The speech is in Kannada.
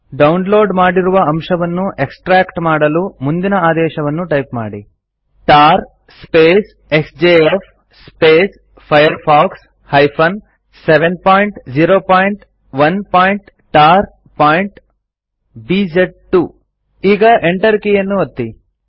ಡೌನ್ಲೋಡ್ ಮಾಡಿರುವ ಅಂಶವನ್ನು ಎಕ್ಸ್ಟ್ರ್ಯಾಕ್ಟ್ ಮಾಡಲು ಮುಂದಿನ ಆದೇಶವನ್ನು ಟೈಪ್ ಮಾಡಿ160tar ಎಕ್ಸ್ಜೆಎಫ್ firefox 701tarಬಿಜ್2 ಈಗ ಎಂಟರ್ ಕೀಯನ್ನು ಒತ್ತಿ